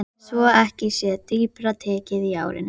Svo ekki sé dýpra tekið í árinni.